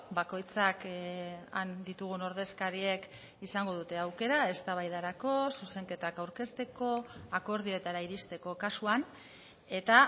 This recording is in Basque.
bakoitzak han ditugun ordezkariek izango dute aukera eztabaidarako zuzenketak aurkezteko akordioetara iristeko kasuan eta